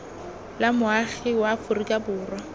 la moagi wa aforika borwa